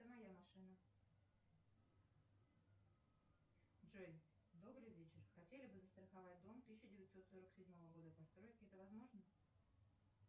это моя машина джой добрый вечер хотели бы застраховать дом тысяча девятьсот сорок седьмого года постройки это возможно